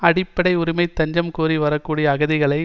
அடிப்படை உரிமை தஞ்சம் கோரி வரக்கூடிய அகதிகளை